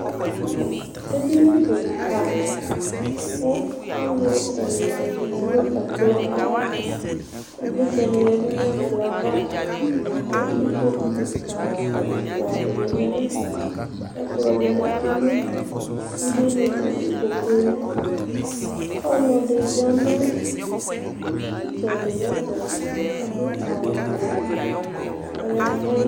edini keka kò alò ɛna zati no ɛkplɔ ayi ɛto ivlitsɛ ni ya du n'ɛkplɔ ava kò ikpoku keka ɛfua di ni lɛ n'ɛfɛ k'ɛkplɔ di lɛ no alɔnu sude ni do ikpokue li ɔlò ɛdi ya no itsɛdi n'ɛfɛ adu awu wɛ k'ɔya vu.